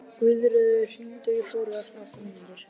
Guðröður, hringdu í Flóru eftir átta mínútur.